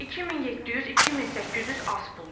2700, 2800 az puldur.